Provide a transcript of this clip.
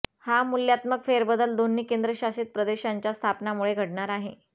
हा मूल्यात्मक फेरबदल दोन्ही केंद्रशासित प्रदेशांच्या स्थापनामुळे घडणार आहे